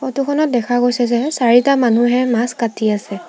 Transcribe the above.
Photo খনত দেখা গৈছে যে চাৰিটা মানুহে মাছ কাটি আছে।